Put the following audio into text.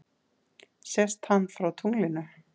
Sést hann frá tunglinu?